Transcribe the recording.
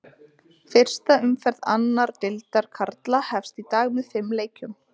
Fyrsta umferð annar deildar karla hefst í dag með fimm leikjum.